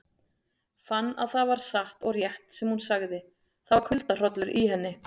Fann að það var satt og rétt sem hún sagði, það var kuldahrollur í henni.